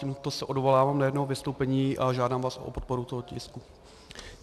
Tímto se odvolávám na jeho vystoupení a žádám vás o podporu tohoto tisku.